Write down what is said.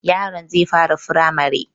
Yaron zai fara firamare